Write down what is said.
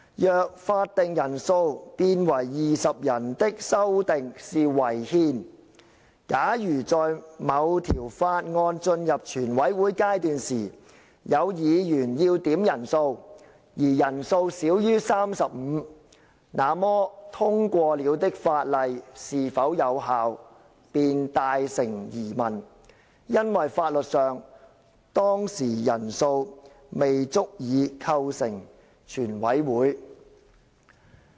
若法定人數變為20人的修訂是違憲，假如在某條法案進入全委會階段時有議員要點人數，而人數少於 35， 那麼通過了的法例是否有效，便大成疑問，因為法律上當時人數未足以構成全委會。